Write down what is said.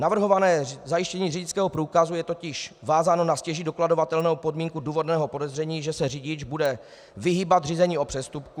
Navrhované zajištění řidičského průkazu je totiž vázáno na stěží dokladovatelnou podmínku důvodného podezření, že se řidič bude vyhýbat řízení o přestupku.